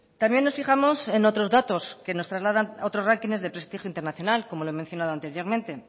también nos fijamos en otros datos que nos trasladan a otros rankings de prestigio internacional como lo he mencionado anteriormente